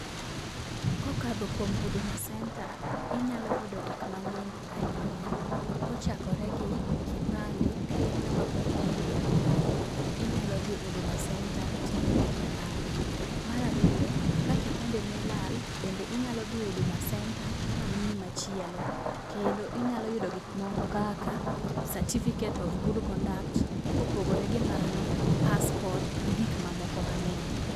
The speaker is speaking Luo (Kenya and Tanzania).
kokadho kuom huduma center ,inyalo yudo gik mang'eny ahinya, kochakore gi kipande .ka in ng'at mane pod oyudo kipande inyalo dhi huduma center timiyi kipande . Mar ariyo ka kipande ni olal bende inyalo dhi huduma center ma miyi machielo . Bende inyalo dhi huduma center mamiyi certificate of good conduct kopogore gi mano passport gi gik mamoko mang'eny.